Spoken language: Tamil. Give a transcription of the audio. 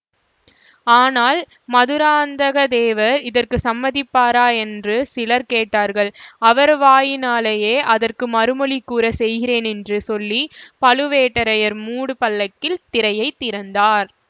ஆனால் மதுராந்தக தேவர் இதற்கு சம்மதிப்பாரா என்று சிலர் கேட்டார்கள் அவர் வாயினாலேயே அதற்கு மறுமொழி கூறச் செய்கிறேன் என்று சொல்லி பழுவேட்டரையர் மூடு பல்லக்கில் திரையைத் திறந்தார்